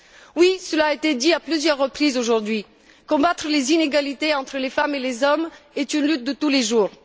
Oui, cela a été dit à plusieurs reprises aujourd'hui combattre les inégalités entre les femmes et les hommes est une lutte de tous les jours.